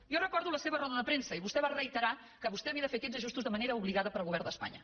jo recordo la seva roda de premsa i vostè va reiterar que vostè havia de fer aquests ajustos de manera obligada pel govern d’espanya